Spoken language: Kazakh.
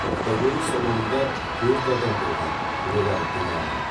автокөлік салонында төрт адам болған олар дін аман